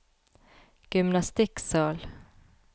gymnastikksal